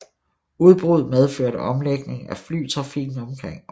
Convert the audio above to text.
Udbruddet medførte omlægning af flytrafikken omkring området